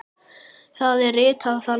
Það er ritað þannig